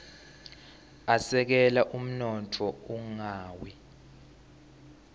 asekela umnotfo ungawi